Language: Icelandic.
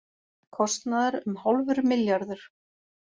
Kostnaður um hálfur milljarður